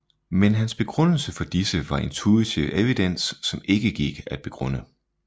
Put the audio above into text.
Men hans begrundelse for disse var intuitiv evidens som ikke gik at begrunde